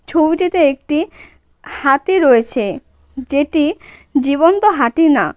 ছবিটিতে একটি হাতি রয়েছে যেটি জীবন্ত হাটি না.